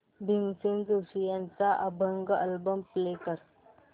भीमसेन जोशी यांचा अभंग album play कर